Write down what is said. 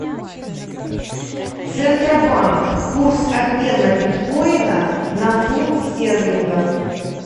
центробанк курс обмена биткоина на фунт стерлингов